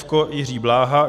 F - Jiří Bláha.